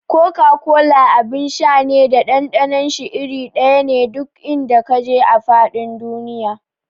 Koka-kola abin sha ne da ɗanɗanon shi iri ɗaya ne duk in da ka je a faɗin duniya.